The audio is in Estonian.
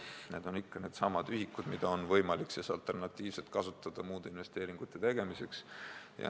Need on needsamad ühikud, mida on võimalik kasutada alternatiivselt muude investeeringute tegemiseks.